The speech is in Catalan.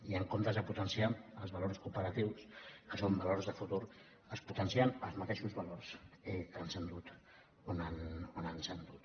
i en comptes de potenciar els valors cooperatius que són valors de futur es potencien els mateixos valors que ens han dut on ens han dut